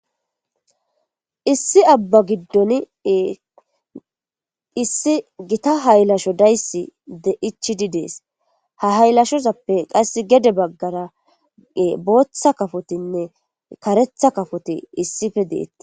Issi abba giddon issi gita haylasho dayss de ichidi dees ha haylashozappe qass gede baggara booththa kafotinne karetha kafoti issife deetti.